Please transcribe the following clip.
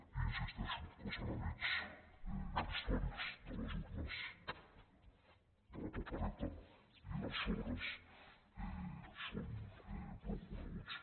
i insisteixo que els enemics històrics de les urnes de la papereta i dels sobres són prou coneguts